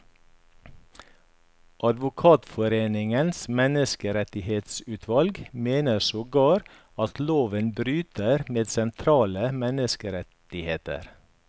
Advokatforeningens menneskerettighetsutvalg mener sogar at loven bryter med sentrale menneskerettigheter.